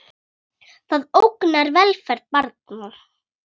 Það ógnar velferð barna.